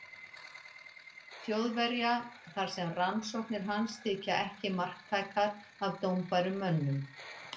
Þjóðverja, þar sem rannsóknir hans þykja ekki marktækar af dómbærum mönnum.